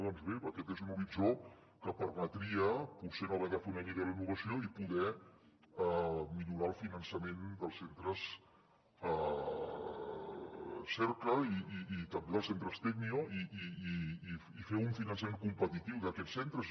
doncs bé aquest és un horitzó que permetria potser no haver de fer una llei de la innovació i poder millorar el finançament dels centres cerca i també dels centres tecnio i fer un finançament competitiu d’aquests centres